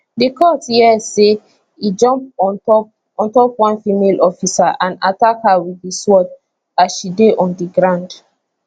di court hear say e jump on top on top one female officer and attack her wit di sword as she dey on di ground